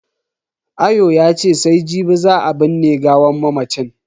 Ayo yace sai jibi za a binne gawan mamacin.